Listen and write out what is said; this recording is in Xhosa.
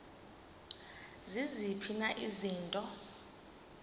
ziziphi na izinto